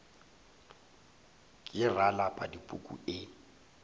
ke ra lapa dipuku e